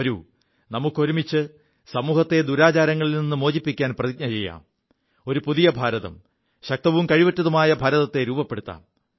വരൂ നമുക്കൊരുമിച്ച് സമൂഹത്തെ ദുരാചാരങ്ങളിൽ നി് മോചിപ്പിക്കാൻ പ്രതിജ്ഞ ചെയ്യാം ഒരു പുതിയ ഭാരതം ശക്തവും കഴിവുറ്റതുമായ ഭാരതത്തെ രൂപപ്പെടുത്താം